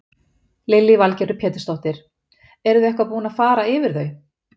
Lillý Valgerður Pétursdóttir: Eruð þið eitthvað búin að fara yfir þau?